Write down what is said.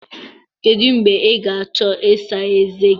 Kedu mgbe ị ga-achọ ịsa ezé gị?